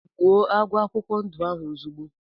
Gbụo agwọ akwụkwọ ndụ ahụ ozigbo!!!